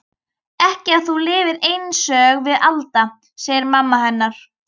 Ekki ef þú lifir einsog við Alda, segir mamma hennar.